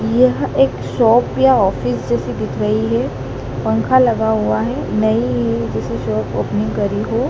यह एक शॉप या ऑफिस जैसी दिख रही है पंखा लगा हुआ है नईइ जैसे शॉप ओपनिंग करी हो।